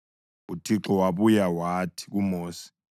UThixo wabuya wathi kuMosi,